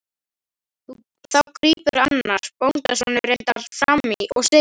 Þá grípur annar, bóndasonur reyndar, fram í og segir